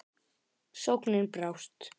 Sóknin brást.